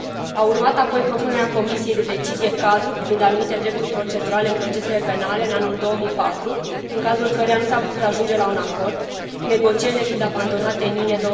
Au urmat apoi propunerea Comisiei de decizie cadru privind anumite drepturi procedurale în procesele penale, în anul 2004, în cazul căreia nu s a putut ajunge la un acord, negocierile fiind abandonate în iunie